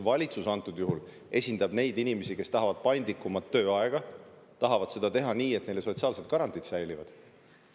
Valitsus esindab praegusel juhul neid inimesi, kes tahavad paindlikumat tööaega ja tahavad seda teha nii, et neile säilivad sotsiaalsed garantiid.